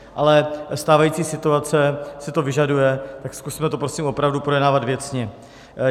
Ale stávající situace si to vyžaduje, tak zkusme to prosím opravdu projednávat věcně.